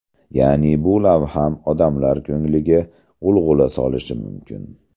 Ya’ni bu lavham odamlar ko‘ngliga g‘ulg‘ula solishi mumkin.